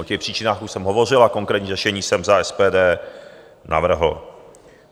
O těch příčinách už jsem hovořil a konkrétní řešení jsem za SPD navrhl.